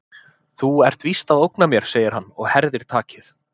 Þú ert víst að ógna mér, segir hann og herðir takið.